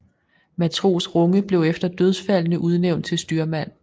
Matros Runge blev efter dødsfaldene udnævnt til styrmand